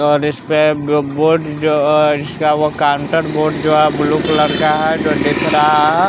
और इसपे जो बोर्ड जो अ इसका वो कॉन्टर बोर्ड जो है ब्लू कलर का है जो दिख रहा ह --